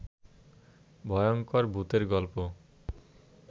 ভয়ংকর ভূতের গল্প